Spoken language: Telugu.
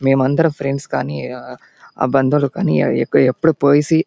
మెం అందరం ఫ్రెండ్స్ గని బంధువులు గని ఎప్పుడు పోయసి --